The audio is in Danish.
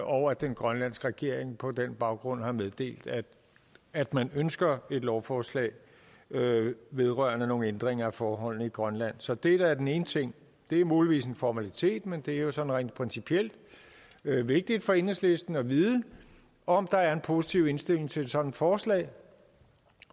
og at den grønlandske regering på den baggrund har meddelt at man ønsker et lovforslag vedrørende nogle ændringer af forholdene i grønland så det er den ene ting det er muligvis en formalitet men det er jo sådan rent principielt vigtigt for enhedslisten at vide om der er en positiv indstilling til et sådant forslag